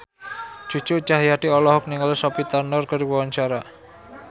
Cucu Cahyati olohok ningali Sophie Turner keur diwawancara